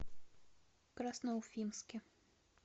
красноуфимске